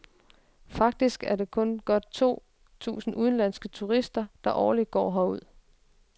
Faktisk er det kun godt to tusind udenlandske turister, der årligt når herud.